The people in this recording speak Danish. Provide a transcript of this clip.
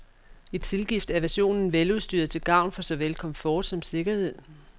I tilgift er versionen veludstyret til gavn for såvel komfort som sikkerhed.